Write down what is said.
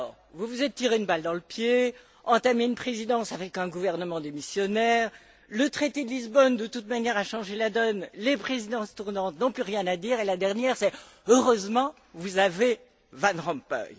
Vous vous êtes tiré une balle dans le pied, vous avez entamé une présidence avec un gouvernement démissionnaire, le traité de Lisbonne a, de toute manière, changé la donne, les présidences tournantes n'ont plus rien à dire et la dernière chose qu'on entend c'est Heureusement, vous avez Van Rompuy.